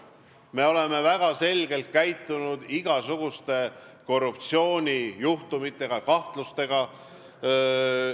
Me oleme väga selgelt käitunud igasuguste korruptsioonijuhtumite ja -kahtlustega.